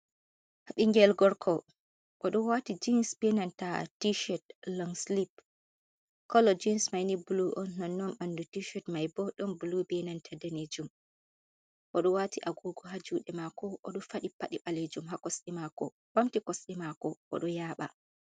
Ɓingel gorko oɗo wati jens benanta teshed longslip collo jins maini buluw on nonnon ɓandu tished maibo ɗon buluw benanta danejum. o do wati agugo ha juɗe mako oɗo fadi padi ɓalejum oɓamti kosɗe mako oɗo yaba.